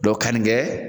kannikɛ